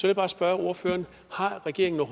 jeg bare spørge ordføreren har regeringen